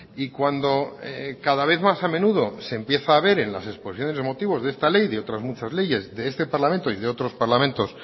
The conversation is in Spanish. y cuando cada vez más a menudo se empieza a ver en las exposiciones de motivos de esta ley y de otras muchas leyes de este parlamento y de otros parlamentos